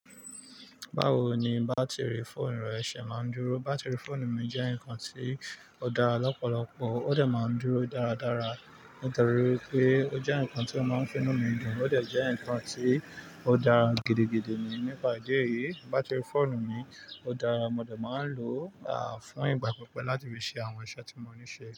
Báwo ni bátìrì fóònù rẹ ṣé máa ń dúró? Bátìrì fóònù mi jẹ́ nǹkan tí ó dá lọ́pọ̀lọpọ̀, ó de máa ń dúró dáradára nítorí pé ó jẹ́ nǹkan tí o máa ń finú mi dùn, ó de jẹ́ nǹkan tí ó dá gidigidi ni. Nípa ìdí èyí, bátìrì fóònù mi ó dára, mo dà máa ń lò a fún ìgbà pípẹ́ láti fi ṣe àwọn iṣẹ́ tí mo ní ṣe.